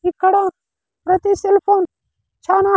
ఇక్కడ ప్రతి శిల్పం చానా--